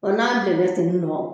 O n'a bilenna ten nɔ